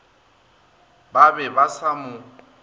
ba be ba sa mo